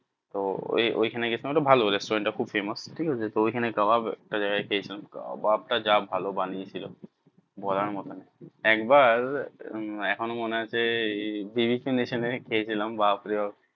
তো ওই ওই খানে গেছিলাম ওইটা ভালো restaurants টা খুব famous ঠিক আছে তো ওইখানে কাবাব একটা জায়গায় খেয়ে ছিলাম কাবাব টা যা ভালো বানিয়ে ছিল বলার মতন একবার এখনো মনে আছে খেয়ে ছিলাম বাপরে বাপ্